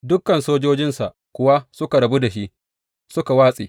Dukan sojojinsa kuwa suka rabu da shi suka watse.